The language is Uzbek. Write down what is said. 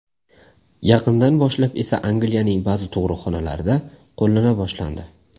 Yaqindan boshlab esa Angliyaning ba’zi tug‘ruqxonalarida qo‘llana boshlandi.